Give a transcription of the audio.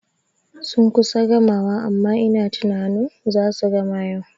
Sun kusa gamawa amma ina tunanin zasu gama yau